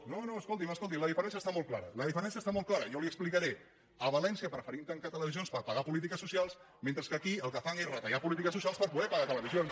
no no escolti’m escolti la diferència està molt clara la diferència està molt clara jo li ho explicaré a valència preferim tancar televisions per pagar polítiques socials mentre que aquí el que fan és retallar polítiques socials per poder pagar televisions